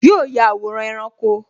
Yo ya àwòrán ẹranko